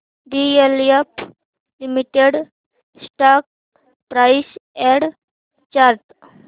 DLF limited stock price and chart